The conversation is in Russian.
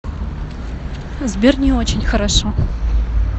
сбер не очень хорошо